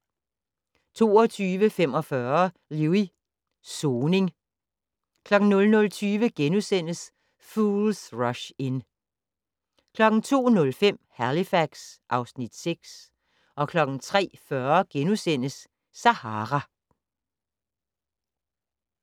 22:45: Lewis: Soning 00:20: Fools Rush In * 02:05: Halifax (Afs. 6) 03:40: Sahara *